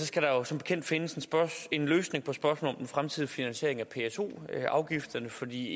skal der jo som bekendt findes en løsning på spørgsmålet om den fremtidige finansiering af pso afgifterne fordi